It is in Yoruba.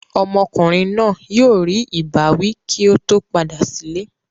Ọmọkùnrin náà yóò rí ìbáwí kí ó tó padà sílé.